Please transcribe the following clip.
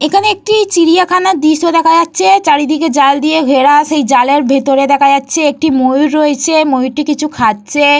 এইখানে একটি চিড়িয়াখানা দৃশ্য দেখা যাচ্ছে। চারিদিকে জাল দিয়ে ঘেরা। সেই জালের ভিতরে দেখা যাচ্ছে একটি ময়ূর রয়েছ। ময়ূরটি কিছু খাচ্ছে।